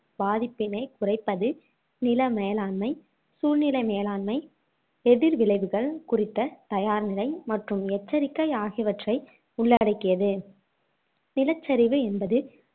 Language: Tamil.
பாதிப்பினைக் குறைப்பது நில மேலாண்மை, சூழ்நிலை மேலாண்மை, எதிர் விளைவுகள் குறித்த தயார் நிலை மற்றும் எச்சரிக்கை ஆகியவற்றை உள்ளடக்கியது நிலச்சரிவு என்பது